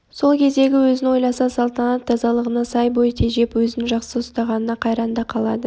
сол кездегі өзін ойласа салтанат тазалығына сай бой тежеп өзін жақсы ұстағанына қайран да қалады